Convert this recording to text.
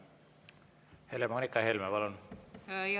Helle-Moonika Helme, palun!